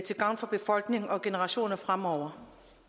gavn for befolkningen og generationer fremover